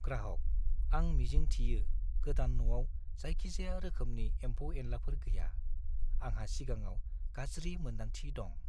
ग्राहक: "आं मिजिं थियो गोदान न'आव जायखिजाया रोखोमनि एम्फौ-एनलाफोर गैया; आंहा सिगाङाव गाज्रि मोन्दांथि दं।"